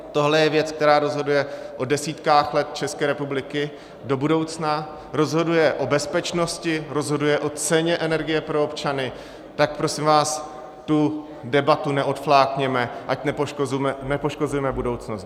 Tohle je věc, která rozhoduje o desítkách let České republiky do budoucna, rozhoduje o bezpečnosti, rozhoduje o ceně energie pro občany, tak prosím vás tu debatu neodflákněme, ať nepoškozujeme budoucnost.